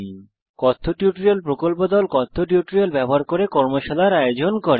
spoken tutorial প্রকল্প দল কথ্য টিউটোরিয়াল গুলি ব্যবহার করে কর্মশালার আয়োজন করে